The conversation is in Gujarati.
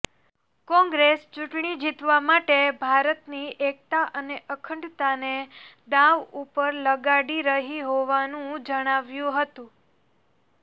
કોંગ્રેસ ચૂંટણી જીતવા માટે ભારતની એકતા અને અખંડતાને દાવ ઉપર લગાડી રહી હોવાનું જણાવ્યું હતું